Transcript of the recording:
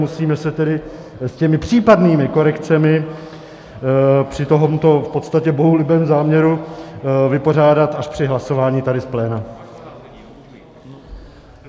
Musíme se tedy s těmi případnými korekcemi při tomto v podstatě bohulibém záměru vypořádat až při hlasování tady v plénu.